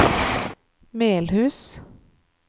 Melhus